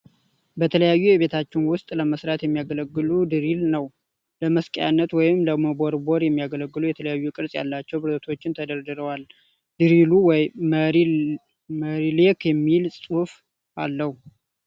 በተለያዩ የቤታችን ውስጥ ለመስራት የሚያገለግል ድሪል ነው ። ለመስቀያነት ወይም ለመቦርቦር የሚያገለግሉ የተለያዬ ቅርጽ ያላቸው ብረቶች ተደርድረዋል ። ድሪሉ መይ ሌክ የሚል ጽሑፍ አለው ።